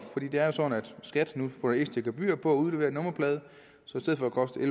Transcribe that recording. det er jo sådan at skat nu putter ekstra gebyr på at udlevere nummerplader så i stedet for at koste